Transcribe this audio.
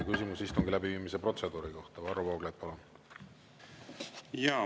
Küsimus istungi läbiviimise protseduuri kohta, Varro Vooglaid, palun!